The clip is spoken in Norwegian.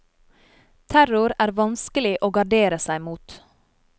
Terror er vanskelig å gardere seg mot.